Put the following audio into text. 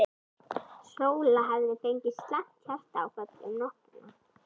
Sóla hefði fengið slæmt hjartaáfall um nóttina.